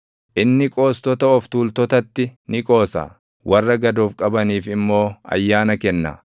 Inni qoostota of tuultotatti ni qoosa; warra gad of qabaniif immoo ayyaana kenna.